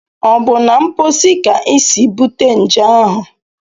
Ọ bụ na mposi ka isi bute nje ahụ?